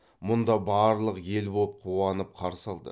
мұнда барлық ел боп қуанып қарсы алды